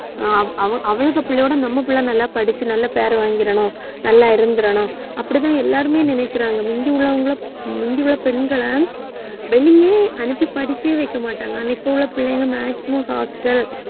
ஆஹ் அவ~ அவளுக பிள்ளையோட நம்ம புள்ள நல்லா படிச்சு நல்ல பெயர் வாங்கிறணும். நல்லா இருந்திறணும் அப்படித்தான் எல்லாருமே நினைக்கிறாங்க முந்தி உள்ளவங்களை முந்தி உள்ள பெண்களை ஆஹ் வெளியே அனுப்பி படிக்க வைக்க மாட்டாங்க அன்னைக்கு உள்ள பிள்ளைங்க maximum hostel